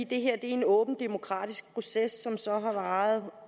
det her er en åben demokratisk proces som så har varet tolv